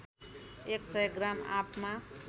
एक सय ग्राम आँपमा